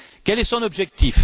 Quel est son objectif?